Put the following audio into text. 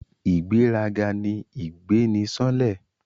Ìgbéraga ni ìgbé ni sánlẹ̀